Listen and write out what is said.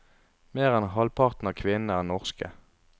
Mer enn halvparten av kvinnene er norske.